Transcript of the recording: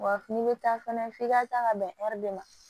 Wa n'i bɛ taa fana f'i ka taa ka bɛn ɛri ma